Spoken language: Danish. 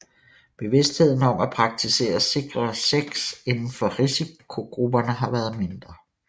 Bevidstheden om at praktisere sikrere sex inden for risikogrupperne har været mindre